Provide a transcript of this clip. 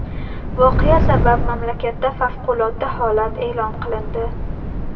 Voqea sabab mamlakatda favqulodda holat e’lon qilindi.